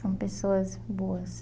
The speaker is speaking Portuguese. São pessoas boas.